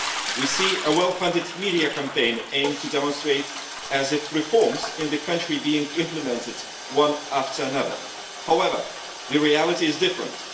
We see a well funded media campaign aimed at demonstrating as if reforms in the country were being implemented one after another. However, the reality is different.